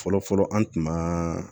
Fɔlɔ fɔlɔ an tun ma